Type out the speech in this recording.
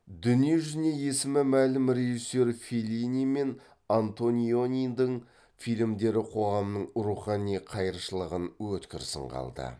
дүние жүзіне есімі мәлім режиссер феллини мен антонионидың фильмдері қоғамның рухани қайыршылығын өткір сынға алды